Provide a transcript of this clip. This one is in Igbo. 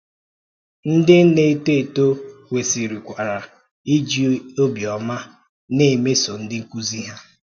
Ńdí na-étò etò kwesịkwara iji ọ̀bịọ́mà na-emeso ndị nkụ́zi hà.